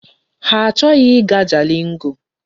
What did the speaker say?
Ha achọghị ịga Jalingo.